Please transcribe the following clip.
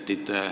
Aitäh!